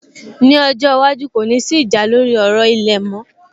Ní ọjọ́ iwájú, kò ní sí ìjà lórí ọ̀rọ̀ ilẹ̀ mọ́